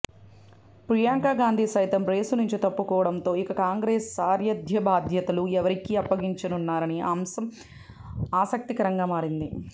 ప్రియాంక గాంధీ సైతం రేసు నుంచి తప్పుకోవడంతో ఇక కాంగ్రెస్ సారథ్యబాధ్యతలు ఎవరికి అప్పగించనున్నారన్న అశం ఆసక్తికరంగా మారింది